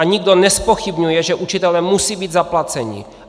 A nikdo nezpochybňuje, že učitelé musí být zaplaceni.